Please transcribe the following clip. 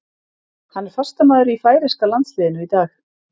Hann er fastamaður í færeyska landsliðinu í dag.